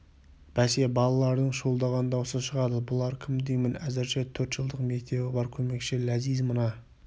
бәсе балалардың шуылдаған даусы шығады бұлар кім деймін әзірше төрт жылдық мектебі бар көмекші ләзиз мына